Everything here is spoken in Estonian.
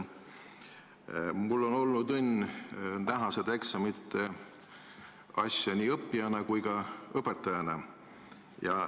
Mul on olnud õnn näha seda eksamite asja nii õppijana kui ka õpetajana.